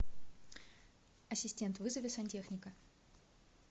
ассистент вызови сантехника